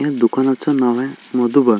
या दुकानाच नाव आहे मधुबन.